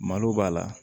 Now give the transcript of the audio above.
Malo b'a la